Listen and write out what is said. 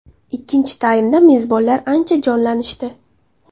Ikkinchi taymda mezbonlar ancha jonlanishdi.